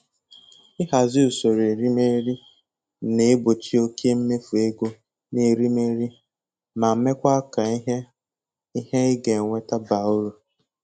Ịhazi usoro erimeri na-egbochi oke mmefu ego n'erimeri ma mekwa ka ihe ị ihe ị ga-enweta baa uru